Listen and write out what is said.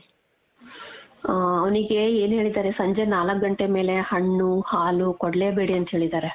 ಆ ಅವ್ನಿಗೆ ಏನ್ ಹೇಳಿದಾರೆ ಸಂಜೆ ನಾಲ್ಕ್ ಗಂಟೆ ಮೇಲೆ ಹಣ್ಣು ಹಾಲು ಕೊಡ್ಲೇಬೇಡಿ ಅಂತ ಹೇಳಿದಾರೆ .